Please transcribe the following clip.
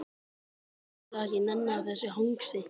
Og sagðist ekki nenna þessu hangsi.